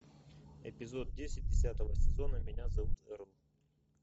эпизод десять десятого сезона меня зовут эрл